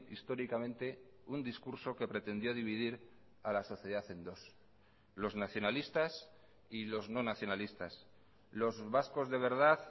históricamente un discurso que pretendió dividir a la sociedad en dos los nacionalistas y los no nacionalistas los vascos de verdad